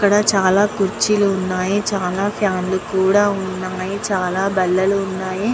ఇక్కడ చాలా కుర్చీలు ఉన్నాయి. చాలా ఫ్యాన్ లు కూడా ఉన్నాయి. చాలా బల్లలు ఉన్నాయి.